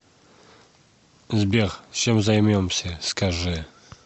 сбер чем займемся скажи